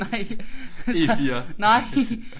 Nej jeg tager nej!